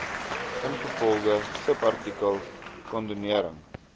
ingevolge subartikel kondonering